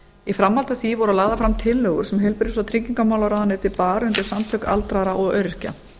í framhaldi af því voru lagðar fram tillögur sem heilbrigðis og tryggingamálaráðuneytið bar undir samtök aldraðra og öryrkja